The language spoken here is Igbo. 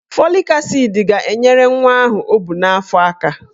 Fọlik asid ga-enyere nwa ahụ o bu n'afọ aka.